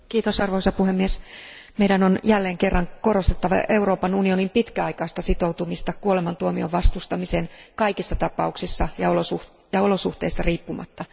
Arvoisa puhemies, meidän on jälleen kerran korostettava Euroopan unionin pitkäaikaista sitoutumista kuolemantuomion vastustamiseen kaikissa tapauksissa ja olosuhteista riippumatta.